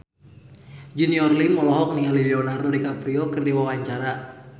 Junior Liem olohok ningali Leonardo DiCaprio keur diwawancara